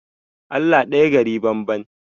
Allah ɗaya gari banban.